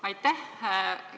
Aitäh!